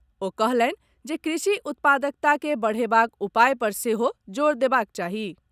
ओ कहलनि जे कृषि उत्पादकता के बढ़ेबाक उपाय पर सेहो जोर देबाक चाही।